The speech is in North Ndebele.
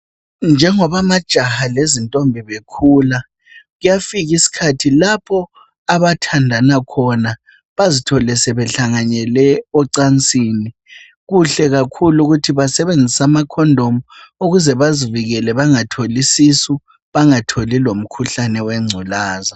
Njengoba amajaha lezintombi khula kuyafika isikhathi lapho abathandana khona bazithole sehlanganele ocansini. Kuhle kakhulu ukuthi basebenzise ama Condom ukuze bazivikele bangatholi isisu, bangatholi lomkhuhlane we ngculazi.